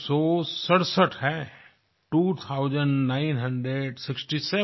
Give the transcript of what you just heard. two thousand nine hundred sixty seven